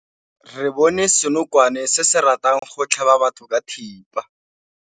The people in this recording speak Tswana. Re bone senokwane se se ratang go tlhaba batho ka thipa.